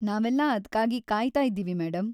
ನಾವೆಲ್ಲ ಅದ್ಕಾಗಿ ಕಾಯ್ತಾ ಇದ್ದೀವಿ, ಮೇಡಂ.